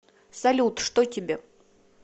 салют что тебе